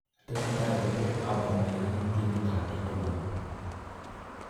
Tesetai Kobir Aubameyang ak timit ab Dortmund